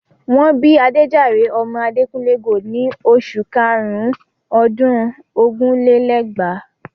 Wọ́n bí Adéjàre ọmọ Adekunle Gold in oṣù karùn-ún ọdún ogún lé lẹ́gbàá.